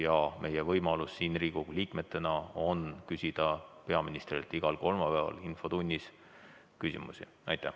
Ja meil kui Riigikogu liikmetel on võimalus küsida peaministrilt igal kolmapäeval infotunnis küsimusi.